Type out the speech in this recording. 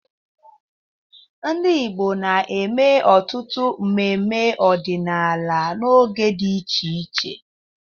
Ndị Igbo na-eme ọtụtụ mmemme ọdịnala n'oge dị iche iche.